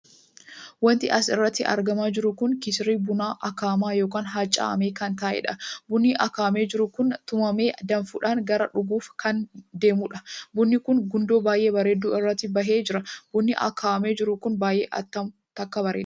Wanti asi irratti argamaa jiru kun kisirii bunaa akaa'amaa ykn hammacamaa kan taheedha. bunni akaa'amee jiru kun tumamee danfuudhaan gara dhugaaf kan deemuudha. bunni kun gundoo baay'ee bareedduu irratti bahee jira. bunni akaa'amee jiru kun baay'ee tokko bareeda!